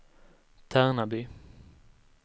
Tärnaby